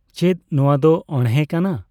ᱪᱮᱫ ᱱᱚᱣᱟ ᱫᱚ ᱚᱦᱬᱮ ᱠᱟᱱᱟ?